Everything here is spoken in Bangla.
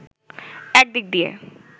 এক দিক দিয়ে